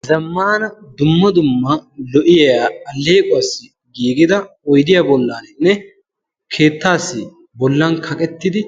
ha zammana dumma dumma lo77iyaa alleequwaassi giigida oidiya bollaaninne keettaassi bollan kaqettidi